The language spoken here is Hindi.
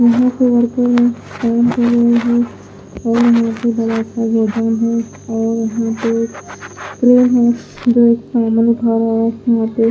यहां पे फोन चला रहा फोन --